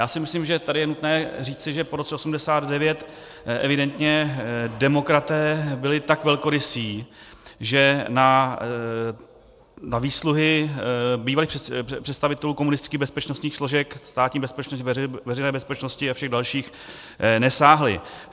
Já si myslím, že tady je nutné říci, že po roce 1989 evidentně demokraté byli tak velkorysí, že na výsluhy bývalých představitelů komunistických bezpečnostních složek, Státní bezpečnosti, Veřejné bezpečnosti a všech dalších, nesáhli.